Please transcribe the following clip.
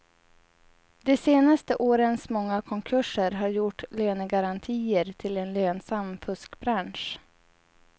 De senaste årens många konkurser har gjort lönegarantier till en lönsam fuskbransch.